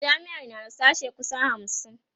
jami'ar na da sashe kusan hamsin